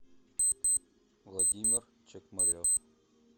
владимир чекмарев